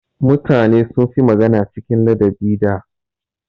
Mutane sun fi magana cikin ladabi da.